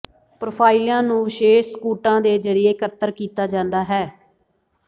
ਪ੍ਰੋਫਾਈਲਾਂ ਨੂੰ ਵਿਸ਼ੇਸ਼ ਸਕੂਟਾਂ ਦੇ ਜ਼ਰੀਏ ਇੱਕਤਰ ਕੀਤਾ ਜਾਂਦਾ ਹੈ